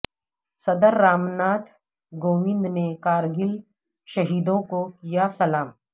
صدر رامناتھ کووند نے کارگل شہیدوں کو کیا سلام